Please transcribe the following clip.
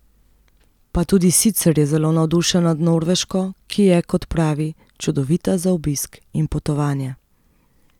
Pa tudi sicer je zelo navdušen nad Norveško, ki je, kot pravi, čudovita za obisk in potovanje.